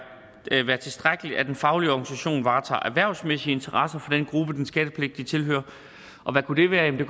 tilstrækkeligt at en faglig organisation varetager erhvervsmæssige interesser for den gruppe den skattepligtigt tilhører og hvad kunne det være det